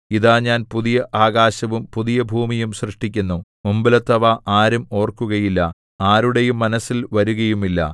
ഇതാ ഞാൻ പുതിയ ആകാശവും പുതിയ ഭൂമിയും സൃഷ്ടിക്കുന്നു മുമ്പിലത്തേവ ആരും ഓർക്കുകയില്ല ആരുടെയും മനസ്സിൽ വരുകയുമില്ല